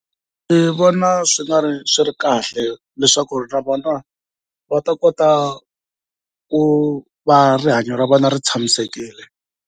Ndzi vona swi nga ri swi ri kahle leswaku na vona va ta kota ku va rihanyo ra vona ri tshamisekile.